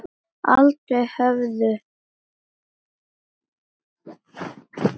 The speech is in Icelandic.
Aldrei höfðu